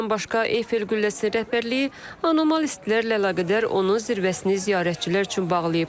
Bundan başqa, Eiffel qülləsi rəhbərliyi anormal istilərlə əlaqədar onun zirvəsini ziyarətçilər üçün bağlayıb.